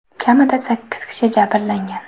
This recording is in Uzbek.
Kamida sakkiz kishi jabrlangan.